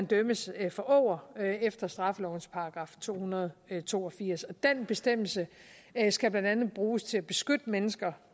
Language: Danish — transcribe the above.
dømmes for åger efter straffelovens § to hundrede og to og firs og den bestemmelse skal blandt andet bruges til at beskytte mennesker